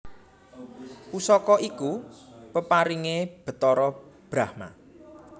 Pusaka iku peparingé Bathara Brahma